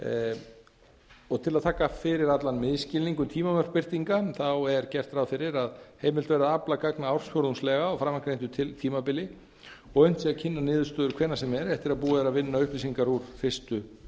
við niðurstöðunum til að taka fyrir allan misskilning um tímamörk birtinga er gert ráð fyrir að heimilt verði að afla gagna ársfjórðungslega á framangreindu tímabili og að unnt sé að kynna niðurstöður hvenær sem er eftir að búið er að vinna upplýsingar úr fyrstu